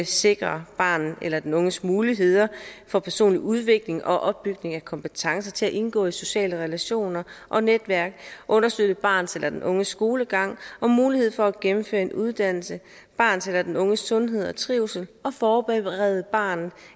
sikre barnet eller den unges muligheder for personlig udvikling og opbygning af kompetencer til at indgå i sociale relationer og netværk understøtte barnets eller den unges skolegang og mulighed for at gennemføre en uddannelse barnets eller den unges sundhed og trivsel og forberede barnet